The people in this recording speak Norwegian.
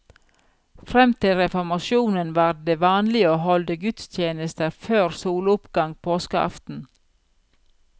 Frem til reformasjonen var det vanlig å holde gudstjenester før soloppgang påskeaften.